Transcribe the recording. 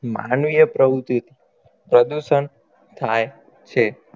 માનવીય પ્રવુતિથી પ્રદુષણ થાય છે